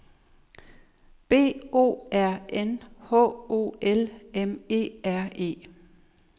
B O R N H O L M E R E